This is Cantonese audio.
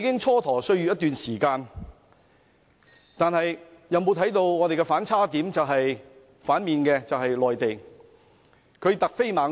在過去一段時間，我們蹉跎歲月，但內地卻突飛猛進。